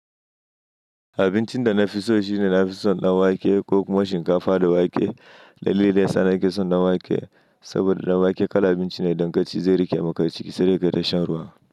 Abincin da na fi so shine na fi son ɗan wake ko kuma shinkafa da wake. Dalilin yasa nake son ɗan wake saboda ɗan wake kala abinci ne dan kaci, zai riƙe maka ciki sai da kai ta shan ruwa.